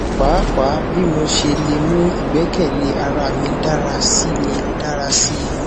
paapaa bii mo ṣe le mu igbẹkẹle ara mi dara si mi dara si